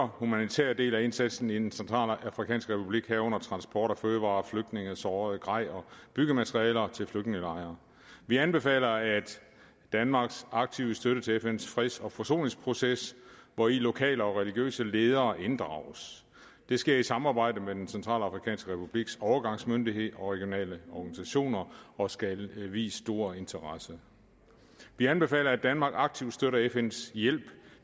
humanitære del af indsatsen i den centralafrikanske republik herunder transport af fødevarer flygtninge sårede grej og byggematerialer til flygtningelejre vi anbefaler danmarks aktive støtte til fns freds og forsoningsproces hvori lokale og religiøse ledere inddrages det sker i samarbejde med den centralafrikanske republiks overgangsmyndighed og regionale organisationer og skal vies stor interesse vi anbefaler at danmark aktivt støtter fns hjælp